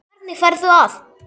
Hvernig ferðu að?